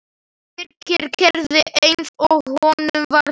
Birkir gerði eins og honum var sagt.